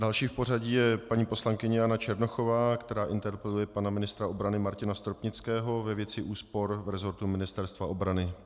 Další v pořadí je paní poslankyně Jana Černochová, která interpeluje pana ministra obrany Martina Stropnického ve věci úspor v resortu Ministerstva obrany.